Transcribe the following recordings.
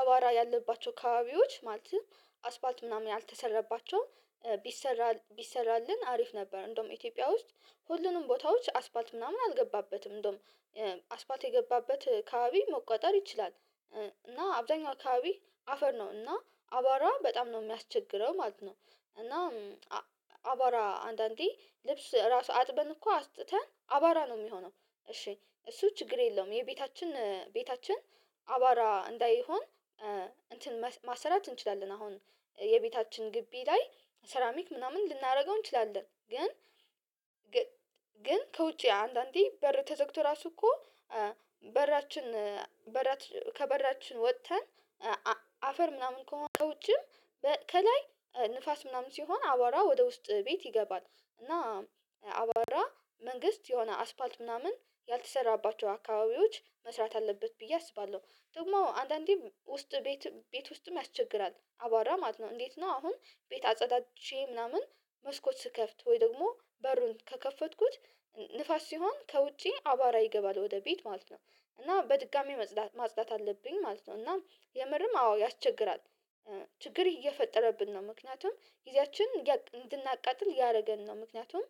አቧራ ያለባቸው ካባቢዎች ማለትም አስፋልት ምናምን ያልተሰረባቸውም ቢሰራ ቢሰራልን አሪፍ ነበር እንደውም ኢትዮጵያ ውስጥ ሁሉንም ቦታዎች አስፋልት ምናምን አልገባበትም እንደውም አስፋልት የገባበት አካባቢ መቆጣጠር ይችላል እና አብዛኛው አካባቢ አፈር ነው እና አቧራ በጣም ነው የሚያስቸግረው ማለት ነው እና አቧራ አንዳንዴ ልብስ ራሱ አጥበን እኮ አስጥተን አባራ ነው የሚሆነው እሺ እሱ ችግር የለውም የቤታችን ቤታችን አባራ እንዳይሆን እንትን ማሰራት እንችላለን አሁን የቤታችን ግቢ ላይ ሰራሚክ ምናምን ልናደርገው እንችላለን ግን ግን ከውጪ አንዳንዴ በር ተዘግቶ ራሱ እኮ በራችን በራችን ከበራችን ወጥተን አፈር ምናምን ከሆነ ከውጭም ከላይ ንፋስ ምናምን ሲሆን አቧራ ወደ ውስጥ ቤት ይገባል እና አቧራ መንግስት የሆነ አስፋልት ምናምን ያልተሰራባቸው አካባቢዎች መስራት አለበት ብዬ አስባለሁ ደግሞ አንዳንዴ ውስጥ ቤት ቤት ውስጥም ያስቸግራል አቧራ ማለት ነው እንዴት ነው አሁን ቤት አጸዳድቼ ምናምን መስኮት ስከፍት ወይ ደግሞ በሩን ከከፈትኩት ንፋስ ሲሆን ከውጪ አቧራ ይገባል ወደ ቤት ማለት ነው እና በድጋሚ ማጽዳት አለብኝ ማለት ነው እና የምርም አዎ ያስቸግራል ችግር እየፈጠረብን ነው ምክንያቱም ጊዜያችንን እንድናቃጥል እያደረገን ነው ምክንያቱም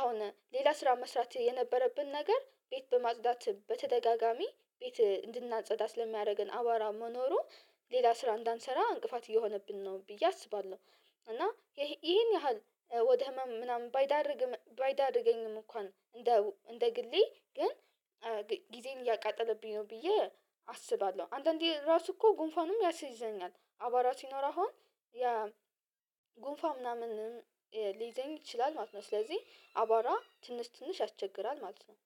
አሁን ሌላ ስራ መስራት የነበረብን ነገር ቤት በማጽዳት በተደጋጋሚ ቤት እንድናጸዳ ስለሚያደርገን አቧራ መኖሩ ሌላ ስራ እንዳንሰራ እንቅፋት እየሆነብን ነው ብዬ አስባለሁ እና ይሄን ያህል ወደ ህመም ምናምን ባይዳርግም ባይዳርገኝም እንኳን እንደ እንደ ግሌ ግን ጊዜን እያቃጠለብኝ ነው ብዬ አስባለሁ አንዳንዴ ራሱ እኮ ጉንፋኑም ያስይዘኛል አቧራ ሲኖር አሁን ያ ጉንፋን ምናምንም ሊይዘኝ ይችላል ማለት ነው ስለዚህ አቧራ ትንሽ ትንሽ ያስቸግራል ማለት ነው።